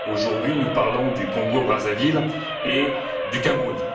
Aujourd'hui, nous parlons du Congo Brazzaville et du Cameroun.